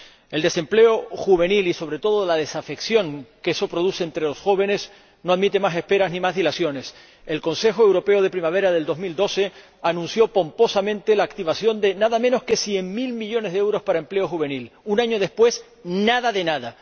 El desempleo juvenil y, sobre todo, la desafección que eso produce entre los jóvenes no admiten más esperas ni más dilaciones. El Consejo Europeo de primavera del año 2012 anunció pomposamente la activación de nada menos que 100 mil millones de euros para el empleo juvenil. Un año después, nada de nada.